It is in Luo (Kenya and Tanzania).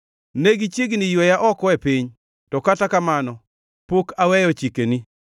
Ne gichiegni yweya oko e piny, to kata kamano pok aweyo chikeni.